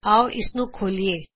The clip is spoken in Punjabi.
ਆਓ ਇਸ ਨੂੰ ਖੋਲੀਏ